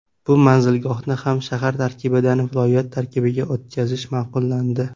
Bu manzilgohni ham shahar tarkibidan viloyat tarkibiga o‘tkazish ma’qullandi.